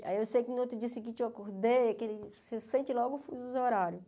Aí eu sei que no outro dia seguinte eu acordei, aquele você sente logo o fuso horário.